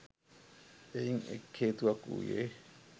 එයින් එක් හේතුවක් වූයේ,